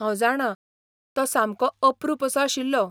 हांव जाणां! तो सामको अप्रूप असो आशिल्लो.